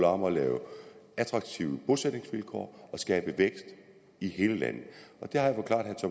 om at lave attraktive bosætningsvilkår og skabe vækst i hele landet